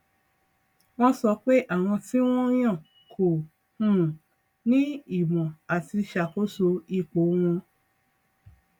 wọn sọ pé àwọn tí wọn yàn kò um ní ìmọ àti ṣàkóso ipò wọn